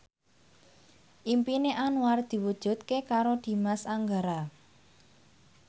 impine Anwar diwujudke karo Dimas Anggara